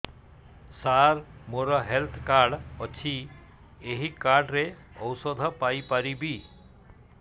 ସାର ମୋର health card ଅଛି ଏହି କାର୍ଡ ରେ ଔଷଧ ପାଇପାରିବି